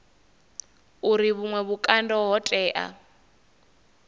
uri vhuṅwe vhukando ho tea